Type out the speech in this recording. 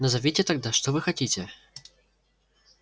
назовите тогда что вы хотите